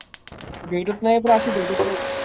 भेटत नाहीत रे अशी भेटत नाहीत